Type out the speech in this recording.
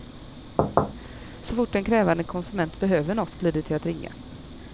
Så fort en krävande konsument behöver något blir det till att ringa.